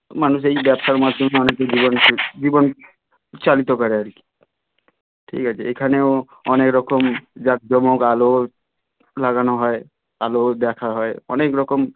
মানুষ এই ব্যবসার মাধ্যমে অনেক কিছু করেছে জীবন চালিত করে আর কি ঠিক আছে এখানেও অনেকরকম জাঁকজমক আলো লাগানো হয় আলোও দেখাও হয় অনেক রকম